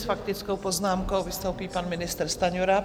S faktickou poznámkou vystoupí pan ministr Stanjura.